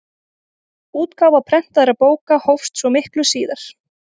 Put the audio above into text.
Útgáfa prentaðra bóka hófst svo miklu síðar.